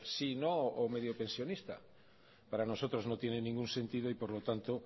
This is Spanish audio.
sí no o medio pensionista para nosotros no tiene ningún sentido y por lo tanto